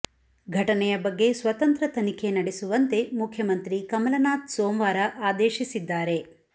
ಘಟನೆಯ ಬಗ್ಗೆ ಸ್ವತಂತ್ರ ತನಿಖೆ ನಡೆಸುವಂತೆ ಮುಖ್ಯಮಂತ್ರಿ ಕಮಲನಾಥ್ ಸೋಮವಾರ ಆದೇಶಿಸಿದ್ದಾರೆ